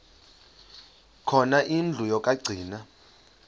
khona indlu yokagcina